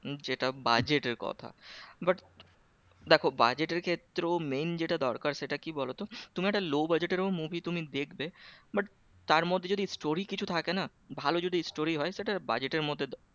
যেটা budget এর কথা but দেখো budget ক্ষেত্রেও main যেটা দরকার সেটা কি বলতো? তুমি একটা low budget টেরো movie তুমি দেখবে but তার মধ্যে যদি story কিছু থাকে না ভালো যদি story হয় সেটার budget এর মধ্যে